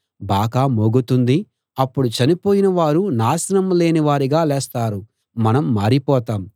బాకా మోగుతుంది అప్పుడు చనిపోయిన వారు నాశనం లేనివారుగా లేస్తారు మనం మారిపోతాం